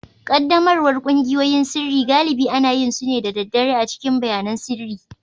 Ƙaddamarwar ƙungiyoyin sirri galibi ana yin su ne da daddare a cikin bayanan sirri